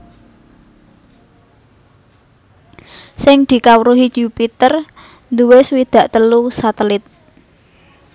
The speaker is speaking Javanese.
Sing dikawruhi Yupiter duwé swidak telu satelit